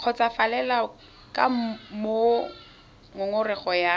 kgotsofalele ka moo ngongorego ya